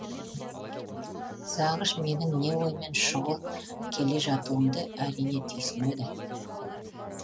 зағыш менің не оймен шұғыл келе жатуымды әрине түйсінеді